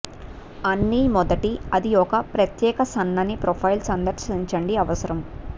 అన్ని మొదటి అది ఒక ప్రత్యేక సన్నని ప్రొఫైల్ సందర్శించండి అవసరం